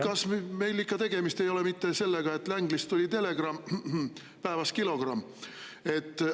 Kas meil ikka tegemist ei ole mitte sellega, et Langleyst tuli telegramm, khm-khm, päevas kilogramm?